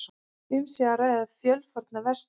Um sé að ræða fjölfarna verslun